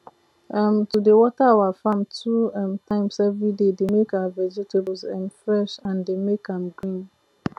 um to dey water our farm two um times everyday dey make our vegetables um fresh and dey make am green